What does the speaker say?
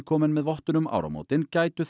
komin með vottun um áramótin gætu